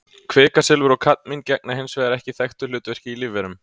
Kvikasilfur og kadmín gegna hins vegar ekki þekktu hlutverki í lífverum.